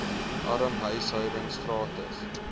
arm huishoudings gratis